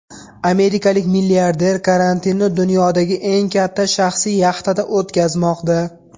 Amerikalik milliarder karantinni dunyodagi eng katta shaxsiy yaxtada o‘tkazmoqda.